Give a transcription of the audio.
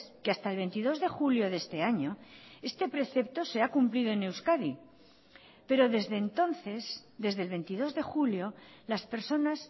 que hasta el veintidós de julio de este año este precepto se ha cumplido en euskadi pero desde entonces desde el veintidós de julio las personas